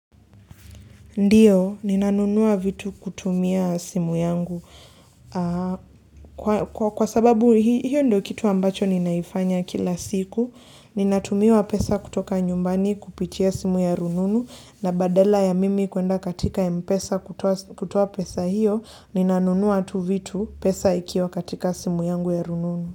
Ndiyo, ninanunuwa vitu kutumia simu yangu. Kwa sababu hiyo ndo kitu ambacho ninaifanya kila siku, ninatumiwa pesa kutoka nyumbani kupitia simu ya rununu, na badala ya mimi kuenda katika mpesa kutoa pesa hiyo, ninanunuwa tu vitu pesa ikiwa katika simu yangu ya rununu.